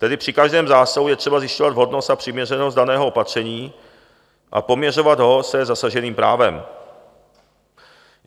Tedy při každém zásahu je třeba zjišťovat vhodnost a přiměřenost daného opatření a poměřovat ho se zasaženým právem.